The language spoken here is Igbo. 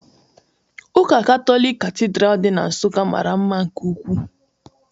Ụka Katọlik Katidral dị na Nsukka mara mma nke ukwuu